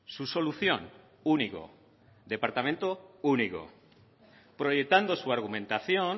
su solución único departamento único proyectando su argumentación